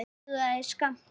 En það dugði skammt.